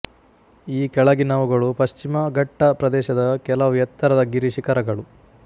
ಈ ಕೆಳಗಿನವುಗಳು ಪಶ್ಚಿಮ ಘಟ್ಟ ಪ್ರದೇಶದ ಕೆಲವು ಎತ್ತರದ ಗಿರಿ ಶಿಖರಗಳು